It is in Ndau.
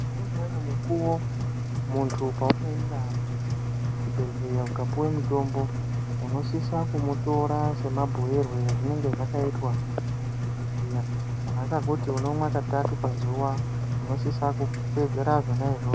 Noumweni mukuwo muntu paunoenda kuchibhehleya ukapuwe mutombo unosisa kumutora semabhuyirwe ezvinenge zvakaitwa nemadhokodheya. Kana akakuti unomwe katatu pazuwa unosisa kuteedzera zvona izvozvo.